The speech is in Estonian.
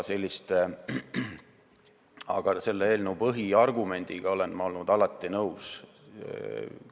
Aga selle eelnõu põhiargumendiga olen ma alati nõus olnud.